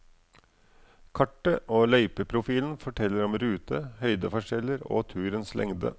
Kartet og løypeprofilen forteller om rute, høydeforskjeller og turens lengde.